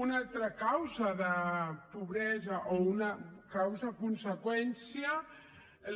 una altra causa de pobresa o una causaconseqüència